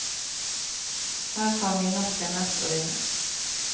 Her har nynorsken mest å vinne.